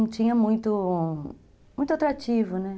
não tinha muito, muito atrativo, né?